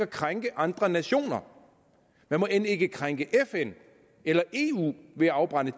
krænke andre nationer man må end ikke krænke fn eller eu ved at afbrænde